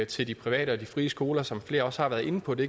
til de private og de frie skoler som flere også har været inde på det